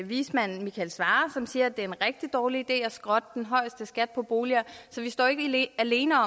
vismand michael svarer som siger at det er en rigtig dårlig idé at skrotte den højeste skat på boliger så vi står jo ikke alene